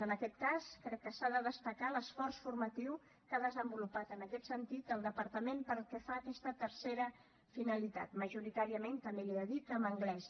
en aquest cas crec que s’ha de destacar l’esforç formatiu que ha desenvolupat en aquest sentit el departament pel que fa a aquesta tercera finalitat majoritàriament també li he de dir que en anglès